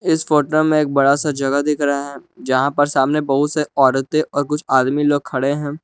इस फोटो मे एक बड़ा सा जगह दिख रहा है। जहा पर सामने बहुत से औरते और कुछ आदमी लोग खड़े है।